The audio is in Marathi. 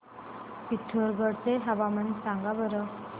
पिथोरगढ चे हवामान सांगा बरं